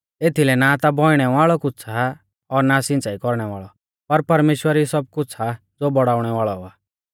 एथीलै ना ता बौइणै वाल़ौ कुछ़ आ और ना सिंच़ाई कौरणै वाल़ौ पर परमेश्‍वर ई सब कुछ़ आ ज़ो बौड़ाउणै वाल़ौ आ